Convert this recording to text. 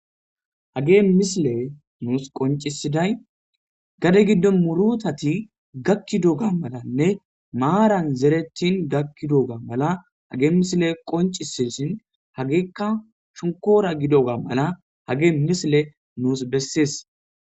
Hagey misiley nuusi qoncisidayi gade gido murutati gakidoga malenne maarani zeretidi gakidoga mala hageyi misileyi qoncises, hageyka shonkora gidoga mala hageyi misileyi nuusi beses.